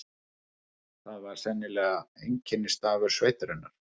Það var sennilega einkennisstafur sveitarinnar.